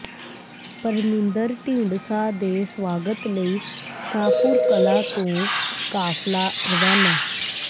ਪਰਮਿੰਦਰ ਢੀਂਡਸਾ ਦੇ ਸਵਾਗਤ ਲਈ ਸ਼ਾਹਪੁਰ ਕਲਾਂ ਤੋਂ ਕਾਫਲਾ ਰਵਾਨਾ